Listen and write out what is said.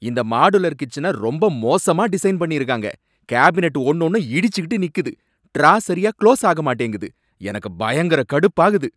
இந்த மாடுலர் கிச்சனை ரொம்ப மோசமா டிசைன் பண்ணி இருக்காங்க, கேபினட் ஒன்னோன்னும் இடிச்சுட்டு நிக்குது, ட்ரா சரியா குளோஸ் ஆக மாட்டேங்குது, எனக்கு பயங்கர கடுப்பாகுது.